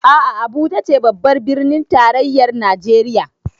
A'a Abuja ce babbar birnin tarayyar Najeriya